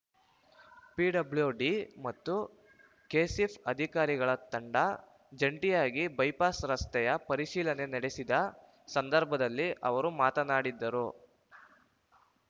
PWD ಮತ್ತು KSHIP ಅಧಿಕಾರಿಗಳ ತಂಡ ಜಂಟಿಯಾಗಿ ಬೈಪಾಸ್ ರಸ್ತೆಯ ಪರಿಶೀಲನೆ ನಡೆಸಿದ ಸಂದರ್ಭದಲ್ಲಿ ಅವರು ಮಾತನಾಡಿದ್ದ ರು